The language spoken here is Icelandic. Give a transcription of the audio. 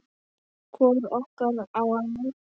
Hvor okkar á að láta